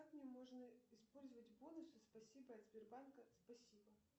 как мне можно использовать бонусы спасибо от сбербанка спасибо